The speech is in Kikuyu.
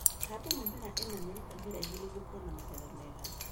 Handa mĩmera ĩna mĩrita mĩraihu nĩguo kuona magetha mega.